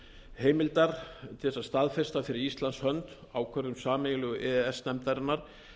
heimildar til þess að staðfesta fyrir íslands hönd ákvörðun sameiginlegu e e s nefndarinnar